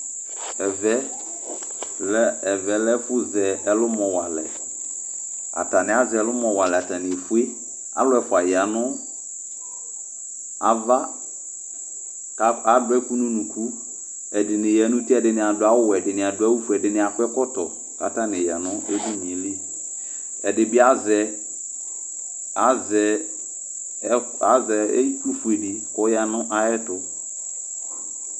Ɛvɛ lɛ ɛfʋ zɛ ɛlʋmɔ walɛ Atanɩ az'ɛlʋmɔ atanɩ efue Alʋ ɛfua yanʋ ava k'adʋ ɛkʋ nʋ unuku, ɛdɩni yan'uti, ɛdɩnɩ adʋ awʋ wɛ, ɛdɩnɩ adʋ awʋ fue, ɛdɩnɩ ak'ɛkɔtɔ k'atanɩ ya nʋ edini yɛ li Ɛdɩ bɩ azɛ, azɛ, azɛ itsu ƒuedɩ k'ɔya nʋ ay'ɛtʋ